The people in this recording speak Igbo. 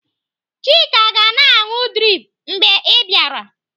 Chika ga-na anụ drip mgbe ị bịara.